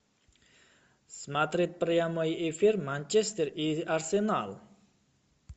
смотреть прямой эфир манчестер и арсенал